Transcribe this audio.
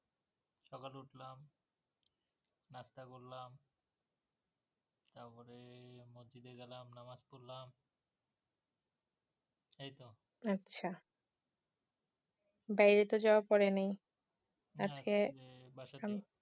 আচ্ছা বাইরে তো যাওয়া পরে নাই, আজকে না আজকে নাই বাসাতেই